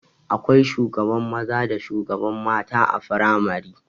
Akwai shugaban maza da shugaban mata a firamare